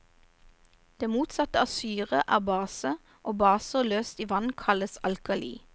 Det motsatte av syre er base, og baser løst i vann kalles alkali.